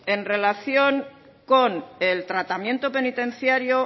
en relación con el tratamiento penitenciario